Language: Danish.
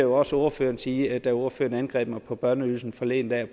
også ordføreren sige da ordføreren angreb mig på børneydelsen forleden dag